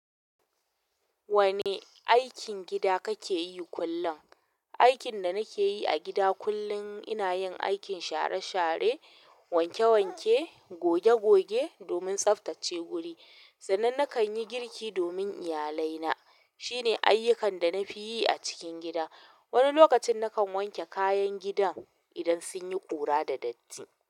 Wane aikin gida kake yi kullin? Aikin da nake yi a gida kullin ina yin aikin share share, wanke wanke, goge goge domin tsaftace guri. Sannan nakan yi girki domin iyalai na. Shine ayyukan da nafiyi a cikin gida. Wani lokacin nakan wanke kayan gidan idan sun yi ƙura da datti.